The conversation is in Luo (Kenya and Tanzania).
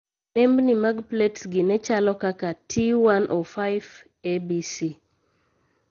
Nembni mag plets gi ne chalo kaka (T105 ABC)